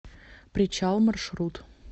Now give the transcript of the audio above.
причал маршрут